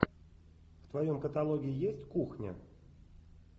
в твоем каталоге есть кухня